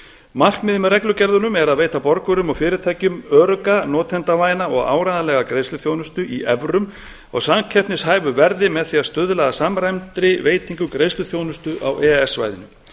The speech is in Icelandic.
markmiðið með reglugerðunum er veita borgurum og fyrirtækjum örugga notendavæna og áreiðanlega greiðsluþjónustu í evrum á samkeppnishæfu verði með því að stuðla að samræmdri veitingu greiðsluþjónustu á e e s svæðinu